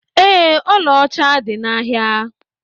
Ee, ọla ọcha dị n'ahịa.